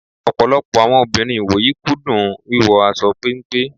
Ọ̀pọ̀lọpọ̀ àwọn obìnrin ìwòyí kú dùn wíwọ aṣọ péńpé.